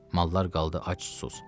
Mallar qaldı ac-susuz.